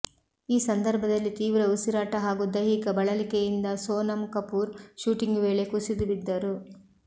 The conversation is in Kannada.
ಈ ಸಂದರ್ಭದಲ್ಲಿ ತೀವ್ರ ಉಸಿರಾಟ ಹಾಗೂ ದೈಹಿಕ ಬಳಲಿಕೆಯಿಂದ ಸೋನಮ್ ಕಪೂರ್ ಶೂಟಿಂಗ್ ವೇಳೆ ಕುಸಿದು ಬಿದ್ದರು